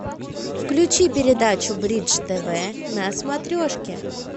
включи передачу бридж тв на смотрешке